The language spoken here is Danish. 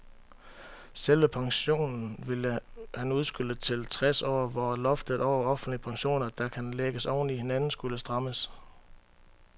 Selve pensionen ville han udskyde til tres år, hvor loftet over offentlige pensioner, der kan lægges oven i hinanden, skulle strammes.